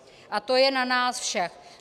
A to je na nás všech.